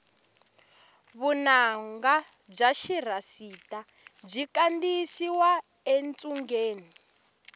vunanga bya xirhasita byi kandiyisiwa etshungeni